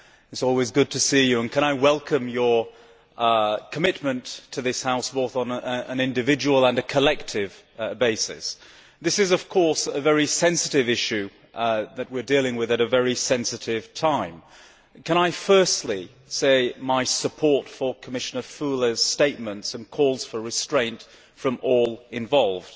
It is always good to see you, and I welcome your commitment to this House, both on an individual and a collective basis. This is of course a very sensitive issue that we are dealing with at a very sensitive time. Can I firstly give my support to Commissioner Füle's statements and calls for restraint from all involved.